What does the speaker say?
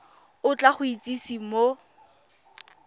o tla go itsise mo